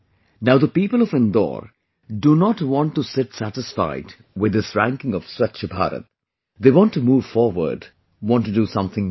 Now the people of Indore do not want to sit satisfied with this ranking of Swachh Bharat, they want to move forward, want to do something new